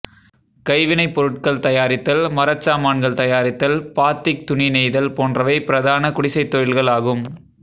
கைவினைப்பொருள்கள் தயாரித்தல் மரச்சாமான்கள் தயாரித்தல் பாத்திக் துணி நெய்தல் போன்றவை பிரதான குடிசைத் தொழில்கள் ஆகும்